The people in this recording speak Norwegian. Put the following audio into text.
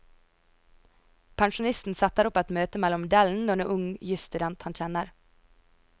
Pensjonisten setter opp et møte mellom modellen og en ung jusstudent han kjenner.